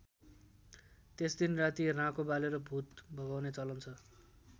त्यस दिन राति राँको बालेर भूत भगाउने चलन छ।